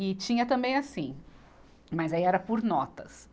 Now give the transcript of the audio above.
E tinha também assim, mas aí era por notas.